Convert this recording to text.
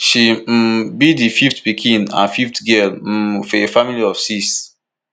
she um be di fifth pikin and fifth girl um for a family of six